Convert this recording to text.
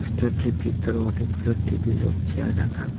Restaurant -টির ভিতরে অনেকগুলি টেবিল ও চেয়ার রাখা।